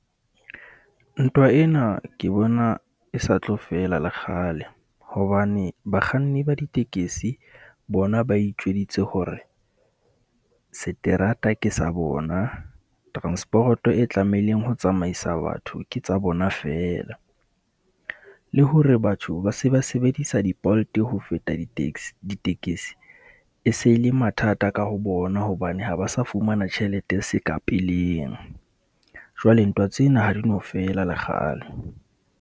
Ntwa ena ke bona e sa tlo fela le kgale hobane bakganni ba ditekesi bona ba itjweditse hore seterata ke sa bona. Transporoto e tlamehileng ho tsamaisa batho ke tsa bona feela. Le hore batho ba se ba sebedisa di-Bolt ho feta di-taxi, ditekesi e se le mathata ka ho bona hobane ha ba sa fumana tjhelete seka peleng. Jwale ntwa tsena ha di no fela lekgale.